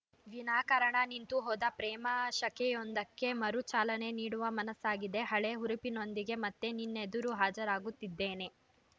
ವಿನಾಕಾರಣ ನಿಂತು ಹೋದ ಪ್ರೇಮ ಶಕೆಯೊಂದಕ್ಕೆ ಮರು ಚಾಲನೆ ನೀಡುವ ಮನಸ್ಸಾಗಿದೆ ಹಳೇ ಹುರುಪಿನೊಂದಿಗೆ ಮತ್ತೆ ನಿನ್ನೆದುರು ಹಾಜರಾಗುತ್ತಿದ್ದೇನೆ